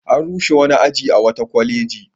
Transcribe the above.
An rushe wani aji a wata kwaleji.